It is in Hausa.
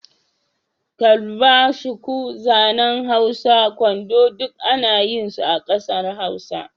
Kalba, shuku, zanen Hausa, kwando duk ana yin su a ƙasa Hausa.